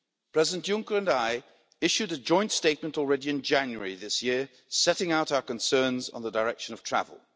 President Juncker and I issued a joint statement in January this year, setting out our concerns on the direction of travel.